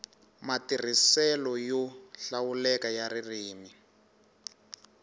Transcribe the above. matirhiselo yo hlawuleka ya ririmi